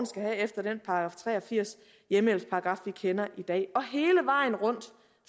skal have efter den § tre og firs hjemmehjælpsparagraffen kender i dag